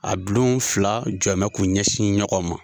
A bulon fila jɔmɛ k'u ɲɛsin ɲɔgɔn ma.